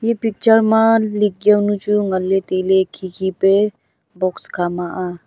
e picture ma lik jaonu chu ngan le taile khikhi pe box khama a.